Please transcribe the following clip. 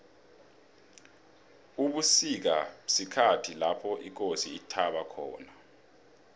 ubusika sikhathi lapho ikosi ithaba khona